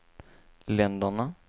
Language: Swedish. länderna